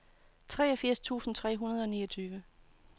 syvogfirs tusind tre hundrede og niogtyve